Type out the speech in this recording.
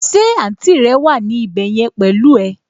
Ṣé àǹtì rẹ wà ní ibẹ̀ yẹn pẹ̀lú ẹ?